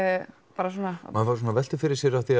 bara svona já maður veltir fyrir sér því